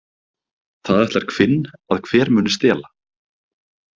Það ætlar hvinn að hver muni stela.